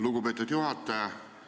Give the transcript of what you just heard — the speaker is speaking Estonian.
Lugupeetud juhataja!